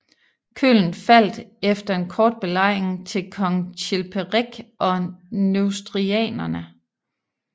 Köln faldt efter en kort belejring til kong Chilperik og Neustrianerne